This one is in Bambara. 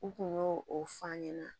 U kun y'o o f'an ɲɛna